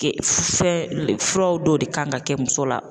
fɛn furaw dɔw de kan ka kɛ muso la.